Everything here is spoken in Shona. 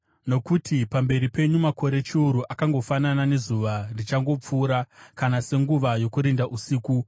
Nokuti pamberi penyu makore chiuru akangofanana nezuva richangopfuura, kana senguva yokurinda usiku.